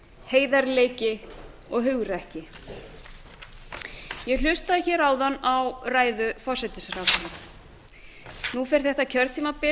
heiðarleiki og hugrekki ég hlustaði hér áðan á ræðu forsætisráðherra nú fer þetta kjörtímabil